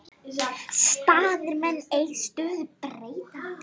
Staðir menn ei stöðu breyta.